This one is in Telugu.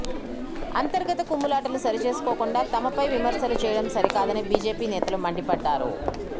అంతర్గత కుమ్ములాటలు సరిచేసుకోకుండా తమపై విమర్శలు చేయడం సరికాదని బీజేపీ నేతలు మండిపడ్డారు